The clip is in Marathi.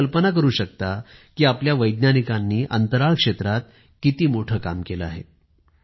तर तुम्ही कल्पना करू शकता कि आपल्या वैज्ञानिकांनी अंतराळ क्षेत्रात किती मोठं काम केलं आहे